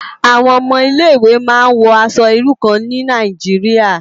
Awòn òmò Ilé Iwé má n wò aṣò irú kàn ni Nàijiriá